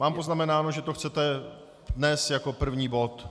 Mám poznamenáno, že to chcete dnes jako první bod?